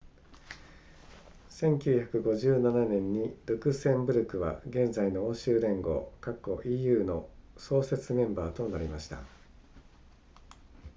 1957年にルクセンブルクは現在の欧州連合 eu の創設メンバーとなりました